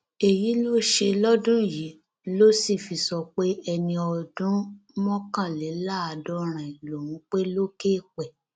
èyí tó ṣe lọdún yìí ló sì fi sọ pé ẹni ọdún mọkànléláàádọrin lòún pé lókè eèpẹ